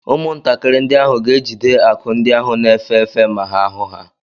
Ụmụntakịrị ndị ahụ ga-ejide akụ ndị ahụ na-efe efe ma ha hụ ha.